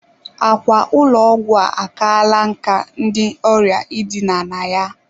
Ákwà ụlọ ọgwụ a akala nkà maka ndị ọrịa idina na ya.